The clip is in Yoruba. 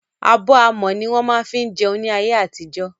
Abọ́ amọ̀ ní wọ́n má ń fí jẹun ní ayé àtijọ́.